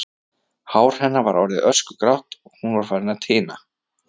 Hár hennar var orðið öskugrátt og hún var farin að tina.